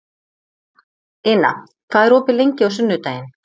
Ina, hvað er opið lengi á sunnudaginn?